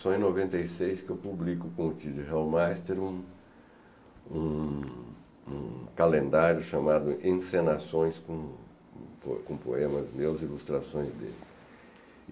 Só em noventa e seis que eu publico com o um um um calendário chamado Encenações, com com com poemas meus, ilustrações dele.